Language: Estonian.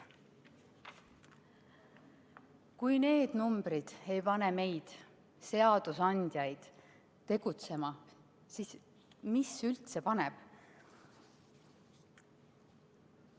Kui need numbrid ei pane meid, seadusandjaid, tegutsema, siis mis üldse paneb?